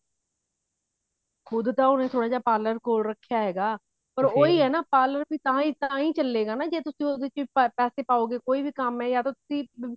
ਖੁਦ ਤਾਂ ਉਹਨੇ ਥੋੜਾ ਜਾ parlor ਖੋਲ ਰੱਖਿਆ ਹੈ ਨਾ parlor ਵੀ ਤਾਹੀਂ ਤਾਹੀਂ ਚੱਲੇਗਾ ਜੇ ਤੁਸੀਂ ਉਹਦੇ ਚ ਪਾਤਾ ਕੋਈ ਵੀ ਕੰਮ ਹੈ ਯਾ ਤਾਂ ਤੁਸੀਂ